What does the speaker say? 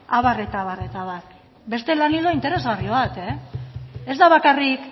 abar eta abar beste lan ildo interesgarri bat ez da bakarrik